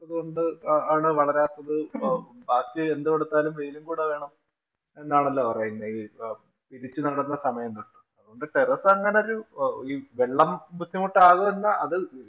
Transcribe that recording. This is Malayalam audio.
~ത്തത് കൊണ്ടാണ് വളരാത്തത്. ആദ്യം എന്തു കൊടുത്താലും വെയിലും കൂടെ വേണം എന്നാണല്ലോ പറയുന്നത് പിരിച്ചു നടുന്ന സമയം തൊട്ട്. അതുകൊണ്ട് terrace അങ്ങനെ ഒരു ഈ വെള്ളം ബുദ്ധിമുട്ടാകും എന്ന അത്